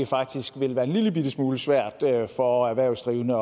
faktisk vil være en lillebitte smule svært for erhvervsdrivende